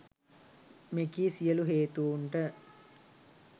මෙකී සියලු හේතූන්ට